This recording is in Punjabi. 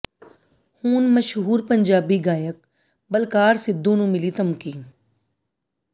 ਹੁਣ ਮਸ਼ਹੂਰ ਪੰਜਾਬੀ ਗਾਇਕ ਬਲਕਾਰ ਸਿੱਧੂ ਨੂੰ ਮਿਲੀ ਧਮਕੀ